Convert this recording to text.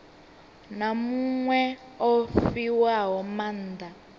na muṅwe o fhiwaho maanda